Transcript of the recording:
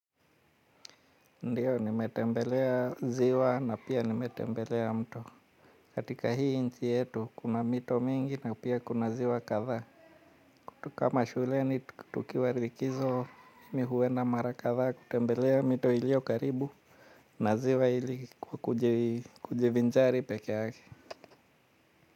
Ndiyo, nimetembelea ziwa na pia nimetembelea mto. Katika hii nchi yetu, kuna mito mingi na pia kuna ziwa kadhaa. Kama shuleni tukiwa likizo mi huenda mara kadhaa kutembelea mito iliyo karibu na ziwa ili kujivinjari pekeake.